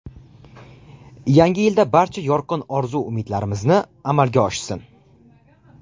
Yangi yilda barcha yorqin orzu-umidlarimizni amalga oshsin!